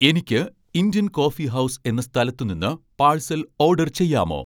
എനിക്ക് Indian Coffee House എന്ന സ്ഥലത്ത് നിന്ന് പാഴ്സൽ ഓഡർ ചെയ്യാമോ